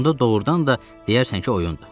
Onda doğrudan da deyərsən ki oyundur.